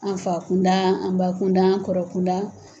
An fa kunda an ba kunda an kɔrɔ kunda.